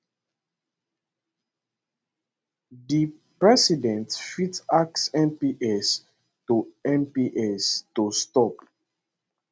di president fit ask mps to mps to stop